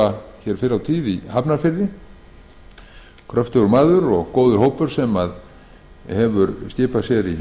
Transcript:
sem var æskulýðsfulltrúi í hafnarfirði árni er kröftugur maður og hópurinn sem hefur skipað